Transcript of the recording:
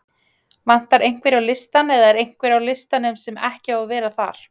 Vantar einhverja á listann eða er einhver á listanum sem ekki á að vera þar?